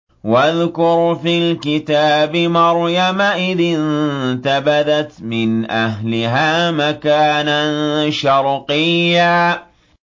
وَاذْكُرْ فِي الْكِتَابِ مَرْيَمَ إِذِ انتَبَذَتْ مِنْ أَهْلِهَا مَكَانًا شَرْقِيًّا